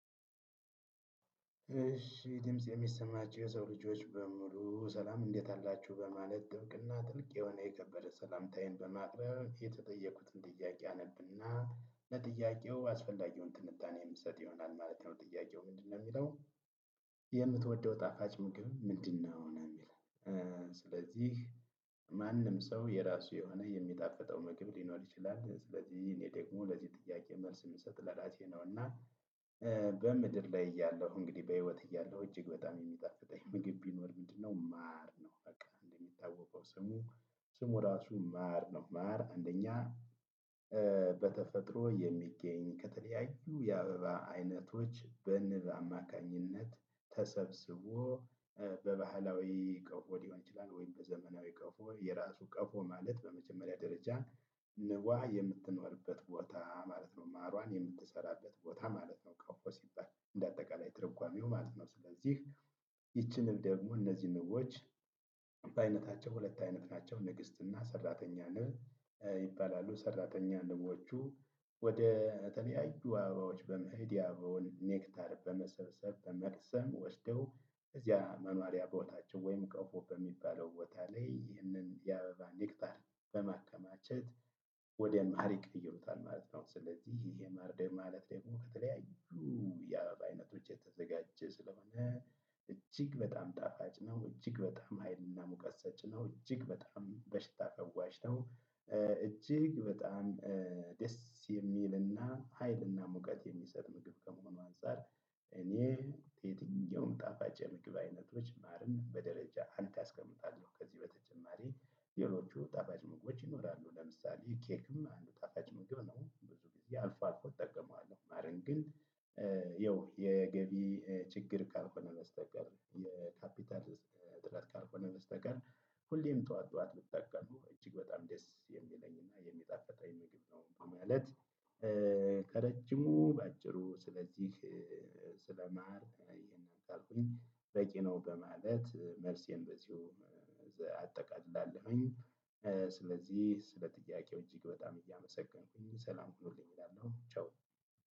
እሺ ድምጽ ይህ የሚሰማችሁ የሰው ልጆች በሙሉ ሰላም እንዴት አላችሁ በማለት ጥብቅና ጥልቅ የሆነ የከበረ ሰላምታዬን በማቅረብ የተጠየኩትን ጥያቄ አነብና። ለጥያቄው አስፈላጊውን ትንታኔ የምሰጥ ይሆናል ማለት ነው ጥያቄው ምንድነው የሚለው? የምትወደው ጣፋጭ ምግብ ምንድን ነው የሚል? ስለዚህ ማንም ሰው የራሱ የሆነ የሚጣፍጠው ምግብ ሊኖር ይችላል ስለዚህ እኔ ደግሞ ለዚህ ጥያቄ መልስ የምሰጥ ለራሴ ነው። እና በምድር ላይ እያለሁ እንግዲህ በህይወት እያለሁ እጅግ በጣም የሚጣፍጠኝ ምግብ ቢኖር ምንድነው ማር ነው። በቃ እንደሚታወቀው ስሙ ስሙ ራሱ ማር ነው። ማር አንደኛ በተፈጥሮ የሚገኝ ከተለያዩ የአበባ አይነቶች በንብ አማካኝነት ተሰብስቦ በባህላዊ ቀፎ ሊሆን ይችላል። ወይም በዘመናዊ ቀፎ የራሱ ቀፎ ማለት በመጀመሪያ ደረጃ ንቧ የምትኖርበት ቦታ ማለት ነው ማሯን የምትሰራበት ቦታ ማለት ነው። ቀፎ ሲባል እንደ አጠቃላይ ትርጓሜው ማለት ነው። ስለዚህ ይቺንም ደግሞ እነዚህ ንቦች በአይነታቸው ሁለት አይነት ናቸው ንግስትና ሰራተኛ ንብ ይባላሉ። ሰራተኛ ንቦቹ ወደ ተለያዩ አበባዎች በመሄድ ያበባውን ኔክታር በመሰብሰብ በመቅሰም ወስደው እዚያ መኗሪያ ቦታቸው ወይም ቀፎ በሚባለው ቦታ ላይ ይህንን የአበባ ኔክታር በማከማቸት ወደ ማር ይቀየሩታል ማለት ነው። ስለዚህ ይሄ ማር ደግሞ ማለት ደግሞ ከተለያዩ የአበባ አይነቶች የተዘጋጀ ስለሆነ እጅግ በጣም ጣፋጭ ነው። እጅግ በጣም ሀይልና ሙቀት ሰጪ ነው። እጅግ በጣም በሽታ ፈዋሽ ነው። እጅግ በጣም ደስ የሚል እና ሀይል እና ሙቀት የሚሰጥ ምግብ ከምሆነ አንፃር። እኔ ከየትኛውም ጣፋጭ የምግብ አይነቶች ማርን በደረጃ አንድ አስቀምጣለሁ። ከዚህ በተጨማሪ ሌሎቹ ጣፋጭ ምግቦች ይኖራሉ ለምሳሌ ኬክም አንዱ ጣፋጭ ምግብ ነው። ብዙ ጊዜ አልፎ አልፎ እጠቀማለሁ። ማርን ግን ይኸው የገቢ ችግር ካልሆነ በስተቀር የካፒታል እጥረት ካልሆነ በስተቀር ሁሌም ጠዋት ጠዋት ብጠቀመው እጅግ በጣም ደስ የሚለኝና የሚጣፍጠኝ ምግብ ነው። ይህ ማለት ከረጅሙ በአጭሩ ስለዚህ ስለማር ይሄን ካልኩኝ በቂ ነው በማለት መልሴን በዚሁ አጠቃልላለሁኝ። ስለዚህ ስለ ጥያቄው እጅግ በጣም እያመሰገንኩኝ ሰላም ሁኑልኝ እላለሁ ቻው።